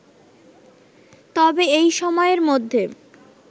তবে এই সময়ের মধ্যে